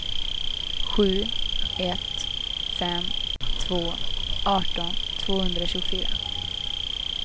sju ett fem två arton tvåhundratjugofyra